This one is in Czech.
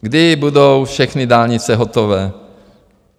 Kdy budou všechny dálnice hotové?